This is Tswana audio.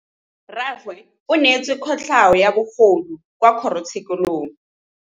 Rragwe o neetswe kotlhaô ya bogodu kwa kgoro tshêkêlông.